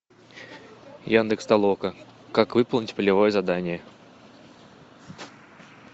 яндекс толока как выполнить полевое задание